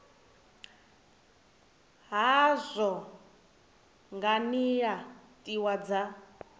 hazwo nga nila tiwa dza